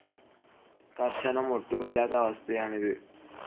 കർശനം ഒട്ടുമില്ലാത്ത അവസ്‌ഥയാണ് ഇത്.